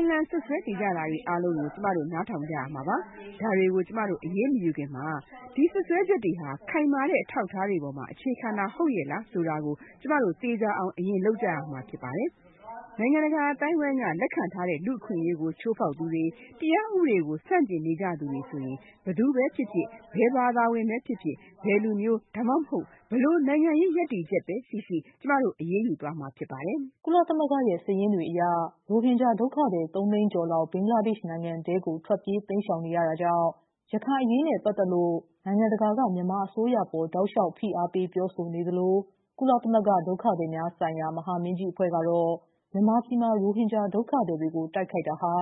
အလှန်စွပ်စွဲနေကြတာတွေအားလုံးကို ကျမတို့နားထောင်ကြရမှာပါ။ ဒါတွေကို ကျမတို့ အရေးမယူခင်မှာ ဒီစွပ်စွဲချက်တွေဟာ ခိုင်မာတဲ့အထောက်အထားတွေအပေါ်အခြေခံတာဟုတ်ရဲ့လားဆိုတာကို ကျမတို့သေချာအောင်အရင်လုပ်ကြရမျာဖြစ်ပါတယ်။ ကျမတို့ နိုင်ငံတကာအသိုင်းအဝိုင်းကလက်ခံထားတဲ့ လူ့အခွင့်အရေးကိုချိုးဖေါက်သူတွေ၊ တရားဥပဒေဘောင်ကိုဆန့်ကျင်နေကြသူတွေဆိုရင်၊ ဘယ်သူဖြစ်ဖြစ်၊ ဘယ်ဘာသာဝင်ဖြစ်ဖြစ်၊ ဘယ်လူမျိုး ဒါမှမဟုတ် ဘယ်လိုနိုင်ငံရေးရပ်တည်ချက်ရှိရှိ၊ အရေးယူသွားမှာဖြစ်ပါတယ်” ကုလသမဂ္ဂရဲ့ စာရင်းတွေအရ ရိုဟင်ဂျာ ဒုက္ခသည် ၃သိန်းကျော်လောက် ဘင်္ဂလားဒေ့ရှ်နိုင်ငံထဲကို ထွက်ပြေးတိမ်းရှောင်နေရတာကြောင့် ရခိုင်အရေးနဲ့ ပတ်သက်လို့ နိုင်ငံတကာက မြန်မာအစိုးရအပေါ် တောက်လျှောက် ဖိအာပေး ပြောဆိုနေသလို ကုလသမဂ္ဂ ဒုက္ခသည်များဆိုင်ရာ မဟာမင်းကြီးအဖွဲ့ကတော့ မြန်မာပြည်မှာ ရိုဟင်ဂျာ ဒုက္ခ သည်တွေကို တိုက်ခိုက်တာဟာ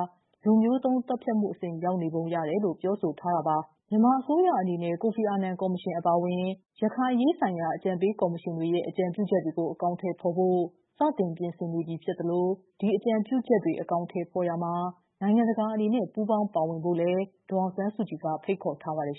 လူမျိုးတုံး သတ်ဖြတ်မှုအဆင့် ရောက်နေပုံရတယ်လို့ ပြောဆိုထားတာ ပါ။ မြန်မာအစိုးရအနေနဲ့ ကိုဖီအာနန်ကော်မရှင်အပါအဝင် ရခိုင်အရေးဆိုင်ရာ အကြံပေးကော်မရှင်တွေရဲ့ အကြံပြုချက်တွေကို အကောင်အထည်ဖော်ဖို့ စတင်ပြင်ဆင်နေပြီဖြစ်သလို ဒီအကြံပြုချက်တွေ အကောင်ထည်ဖော်ရာမှာ နိုင်ငံတကာအနေနဲ့ ပူးပေါင်းပါဝင်ဖို့လည်း ဒေါ်အောင်ဆန်းစုကြည်က ဖိတ်ခေါ်ထားပါတယ်